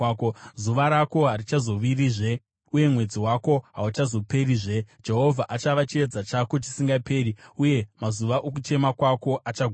Zuva rako harichazovirizve, uye mwedzi wako hauchazoperizve; Jehovha achava chiedza chako chisingaperi, uye mazuva okuchema kwako achaguma.